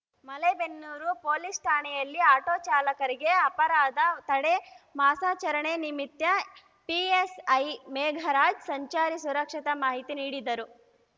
Malebennur police ಠಾಣೆಯಲ್ಲಿ auto ಚಾಲಕರಿಗೆ ಅಪರಾಧ ತಡೆ ಮಾಸಾಚರಣೆ ನಿಮಿತ್ಯ ಪಿಎಸ್‌ಐ ಮೇಘರಾಜ್‌ ಸಂಚಾರಿ ಸುರಕ್ಷತೆ ಮಾಹಿತಿ ನೀಡಿದರು